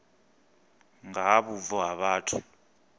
nga ha vhubvo ha vhathu